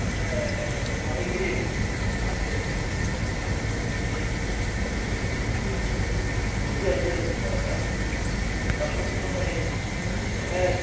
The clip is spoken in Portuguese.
Aquilo é é é uma alegria que que a gente que a gente tem com o dia a dia da da da profissão da gente. É